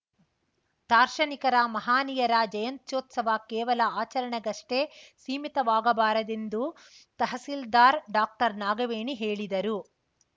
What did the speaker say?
ದಾರ್ಶನಿಕರ ಮಹನೀಯರ ಜಯಂತ್ಯೋತ್ಸವ ಕೇವಲ ಆಚರಣೆಗಷ್ಟೇ ಸೀಮಿತವಾಗಬಾರದೆಂದು ತಹಶೀಲ್ದಾರ್ ಡಾಕ್ಟರ್ನಾಗವೇಣಿ ಹೇಳಿದರು